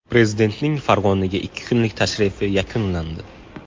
Prezidentning Farg‘onaga ikki kunlik tashrifi yakunlandi.